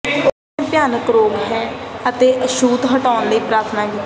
ਉਸ ਨੇ ਭਿਆਨਕ ਰੋਗ ਹੈ ਅਤੇ ਛੂਤ ਹੱਟਣ ਲਈ ਪ੍ਰਾਰਥਨਾ ਕੀਤੀ